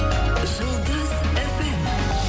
жұлдыз фм